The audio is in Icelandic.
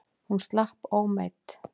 Hún slapp ómeidd.